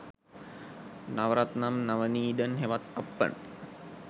නව රත්නම් නවනීදන් හෙවත් අප්පන්